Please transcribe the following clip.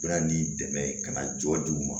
U bɛna ni dɛmɛ ka na jɔ di u ma